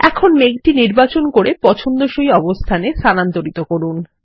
এখন মেঘটি নির্বাচন করে পছন্দসই অবস্থানে স্থানান্তরিত করুন